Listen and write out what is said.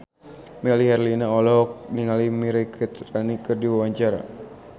Melly Herlina olohok ningali Mirei Kiritani keur diwawancara